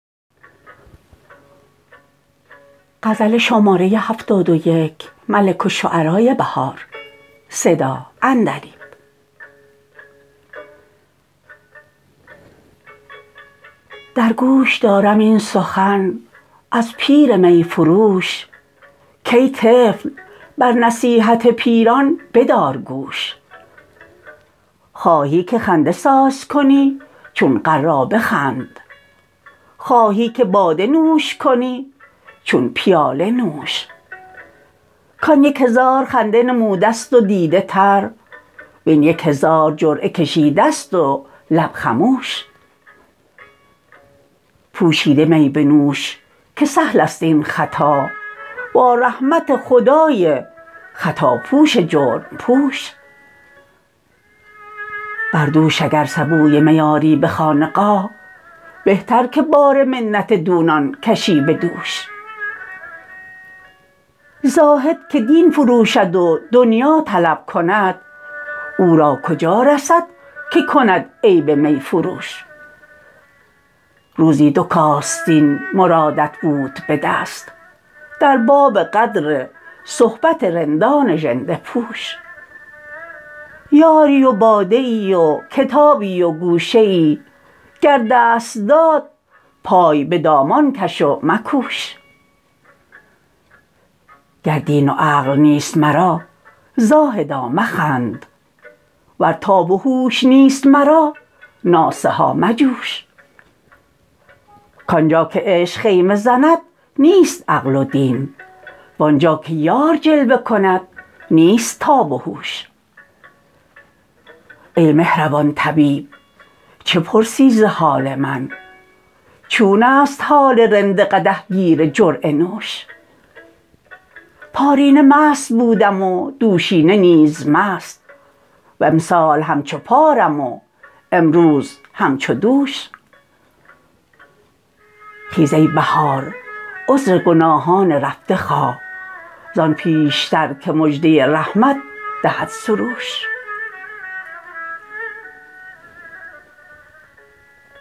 درگوش دارم این سخن از پیر می فروش کای طفل بر نصیحت پیران بدار گوش خواهی که خنده سازکنی چون غرابه خند خواهی که باده نوش کنی چون پیاله نوش کآن یک هزار خنده نموده است و دیده تر وین یک هزار جرعه کشیدست و لب خموش پوشیده می بنوش که سهل است این خطا با رحمت خدای خطابخش جرم پوش بر دوش اگر سبوی می آری به خانقاه بهتر که بار منت دونان کشی به دوش زاهدکه دین فروشد و دنیا طلب کند او را کجا رسد که کند عیب می فروش روزی دوکاستین مرادت بود به دست در باب قدر صحبت رندان ژنده پوش یاری و باده ای وکتابی وگوشه ای گر دست داد پای به دامان کش و مکوش گر دین و عقل نیست مرا زاهدا مخند ور تاب وهوش نیست مرا ناصحا مجوش کانجا که عشق خیمه زند نیست عقل و دین وآنجاکه یار جلوه کند نیست تاب و هوش ای مهربان طبیب چه پرسی ز حال من چون است حال رند قدح گیر جرعه نوش پارینه مست بودم و دوشینه نیز مست وامسال همچو پارم و امروز همچو دوش خیز ای بهار عذرگناهان رفته خواه زان پیشترکه مژده رحمت دهد سروش